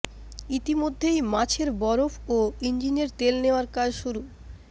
ইতিমধ্যেই মাছের বরফ ও ইঞ্জিনের তেল নেওয়ার কাজ শুরু